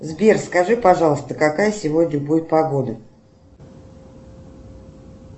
сбер скажи пожалуйста какая сегодня будет погода